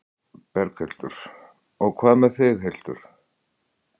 Berghildur: Og hvað með þig, Hildur?